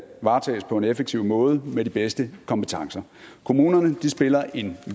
varetages på en effektiv måde med de bedste kompetencer kommunerne spiller en